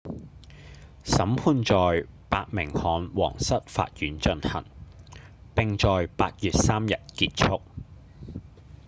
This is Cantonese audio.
審判在伯明翰皇室法院進行並在8月3日結束